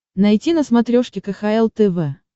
найти на смотрешке кхл тв